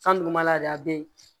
San duguma la de a bɛ yen